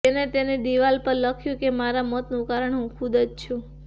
તેને તેની દિવાલ પર લખ્યુ કે મારા મોતનું કારણ હું ખુદ જ છું